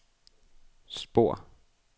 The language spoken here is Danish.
spor